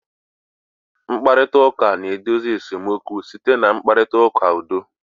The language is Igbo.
Mkparịta ụka na-edozi esemokwu site na mkparịta ụka udo